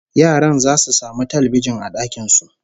Yaran zasu samu talbijin a dakin su